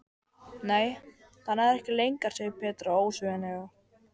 Nei, það nær ekki lengra segir Petra ósveigjanleg.